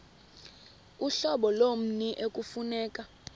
uhlobo lommi ekufuneka